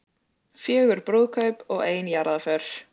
Fjögur brúðkaup og ein jarðarför